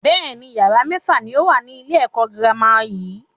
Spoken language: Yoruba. Bẹ́ẹ̀ni, yàrá mẹ́fà ni ó wà ní ilé ẹ̀kọ́ girama yìí.